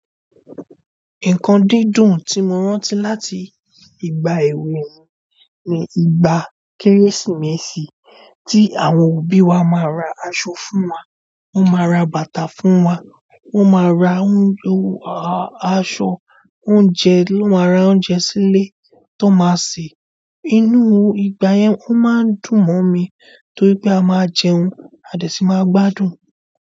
Nǹkan dídùn tí mo rántí láti ìgbà èwe mi ni ìgbà Kérésìmesì tí àwọn òbí wa máa ra aṣọ fún wa, wón máa ra bàtà fún wa, wón máa ra ń yọ aṣọ, oúnjẹ, won maa ra oúnjẹ sílé tón máa sè. Inú ìgbà yẹn ó máa ń dùn mọ́ mi torí pé a máa jẹun, a dẹ̀ sí máa gbádùn.